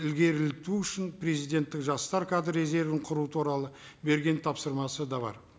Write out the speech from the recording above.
ілгерілту үшін президенттік жастар кадр резервін құру туралы берген тапсырмасы да бар